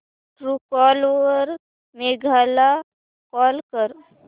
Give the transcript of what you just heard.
Truecaller वर मेघा ला call कर